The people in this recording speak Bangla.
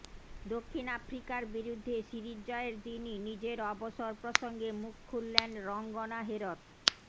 দক্ষিণ আফ্রিকার বিরুদ্ধে সিরিজ জয়ের দিনই নিজের অবসর প্রসঙ্গে মুখ খুললেন রঙ্গনা হেরথ